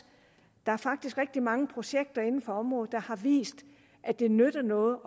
der er faktisk rigtig mange projekter inden for området der har vist at det nytter noget